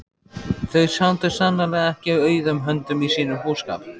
Þau sátu sannarlega ekki auðum höndum í sínum búskap.